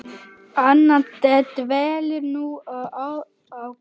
Anna dvelur nú á Grund.